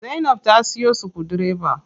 Zainab ta siyo sukudireba.